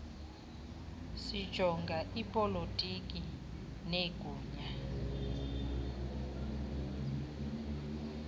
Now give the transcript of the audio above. sijonga ipolotiki negunya